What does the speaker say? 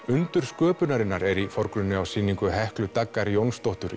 undur sköpunarinnar er í forgrunni á sýningu Heklu Daggar Jónsdóttur